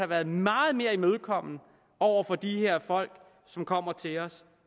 været meget mere imødekommende over for de her folk som kommer til os